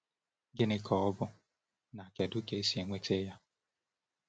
Gịnị ka ọ bụ, na kedu ka e si enweta ya?